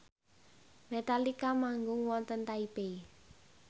Metallica manggung wonten Taipei